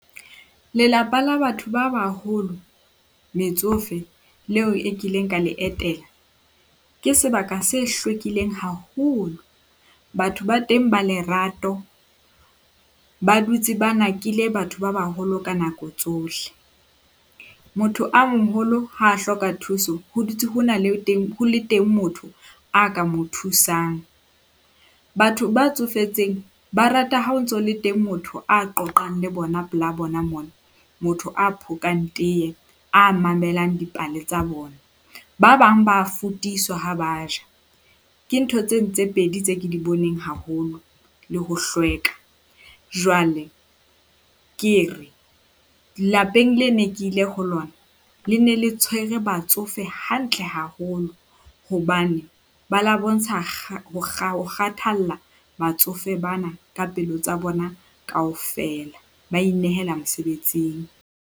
Lelapa la batho ba baholo metsofe leo e kileng ka le etela, ke sebaka se hlwekileng haholo. Batho ba teng ba lerato ba dutse ba nakile batho ba baholo ka nako tsohle. Motho a moholo ha hloka thuso ho dutse ho na le teng ho le teng motho a ka mo thusang. Batho ba tsofetseng ba rata ha o ntso le teng motho a qoqang le bona pela bona mona. Motho a phokang teye, a mamelang dipale tsa bona. Ba bang ba fotiswa ha ba ja. Ke ntho tseno tse pedi tse ke di boneng haholo le ho hlweka. Jwale ke re lapeng le ne ke ile ho lona. Le ne le tshwere batsofe hantle haholo hobane ba la bontsha ho kgathalla batsofe bana ka pelo tsa bona kaofela, ba inehela mosebetsing.